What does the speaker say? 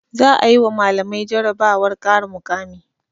Za'a yi wa malamai jarabawar ƙara mukami.